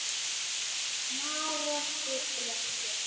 Marorku fréttir